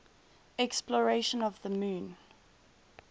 exploration of the moon